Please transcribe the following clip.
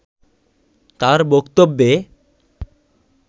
তার বক্তব্যে